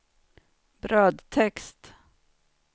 brödtext